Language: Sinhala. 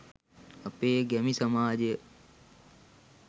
අපේ ගැමි සමාජය